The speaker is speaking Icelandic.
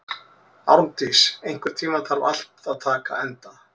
Árndís, einhvern tímann þarf allt að taka enda.